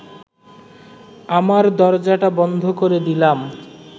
আমার দরজাটা বন্ধ করে দিলাম